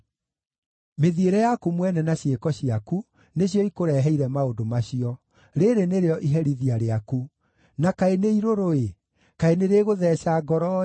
“Mĩthiĩre yaku mwene na ciĩko ciaku nĩcio ikũreheire maũndũ macio. Rĩĩrĩ nĩrĩo iherithia rĩaku. Na kaĩ nĩ irũrũ-ĩ! Kaĩ nĩrĩgũtheeca ngoro-ĩ!”